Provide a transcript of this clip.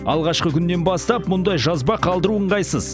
алғашқы күннен бастап мұндай жазба қалдыру ыңғайсыз